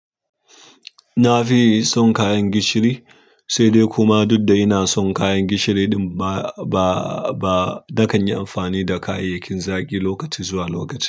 Na fi son kayan gishiri, sai dai kuma duk da ina son kayan gishiri ɗin ba, ba, ba nakan yi amfani da kayayyakin zaƙi lokaci zuwa lokaci.